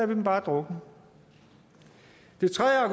dem bare drukne det tredje